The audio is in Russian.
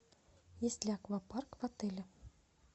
есть ли аквапарк в отеле